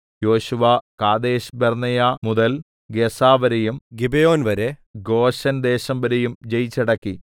യോശുവ കാദേശ്ബർന്നേയ മുതൽ ഗസ്സാവരെയും ഗിബെയോൻ വരെ ഗോശെൻ ദേശം ഒക്കെയും ജയിച്ചടക്കി